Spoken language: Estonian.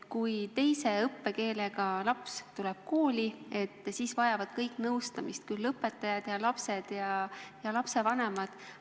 Kui teise koduse keelega laps tuleb kooli, et siis vajavad kõik nõustamist: õpetajad ja lapsed ja lapsevanemad.